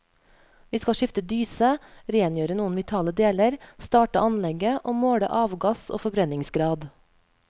Vi skal skifte dyse, rengjøre noen vitale deler, starte anlegget og måle avgass og forbrenningsgrad.